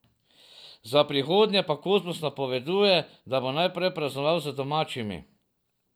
Za prihodnje pa Kozmus napoveduje, da bo najprej praznoval z domačimi.